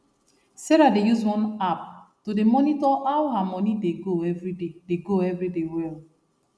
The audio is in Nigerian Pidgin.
sarahdey use one app to dey monitor how her money dey go everyday dey go everyday well